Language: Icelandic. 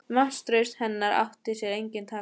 Vantraust hennar átti sér engin takmörk.